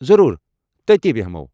ضروٗر ! تٔتی بٮ۪ہمَو۔